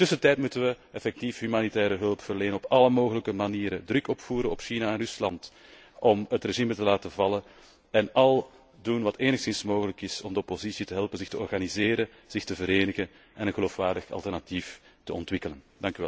In de tussentijd moeten wij effectief humanitaire hulp verlenen, op alle mogelijke manieren druk opvoeren op China en Rusland om het regime te laten vallen en alles doen wat enigszins mogelijk is om de oppositie te helpen zich te organiseren, zich te verenigen en een geloofwaardig alternatief te ontwikkelen.